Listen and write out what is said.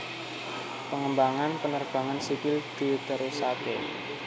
Pengembangan penerbangan sipil diterusaké